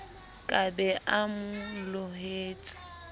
ka be a mo lohetse